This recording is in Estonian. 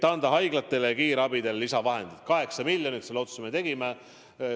Anda haiglatele ja kiirabile lisavahendid 8 miljonit, selle otsuse me tegime.